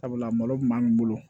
Sabula malo kun b'an bolo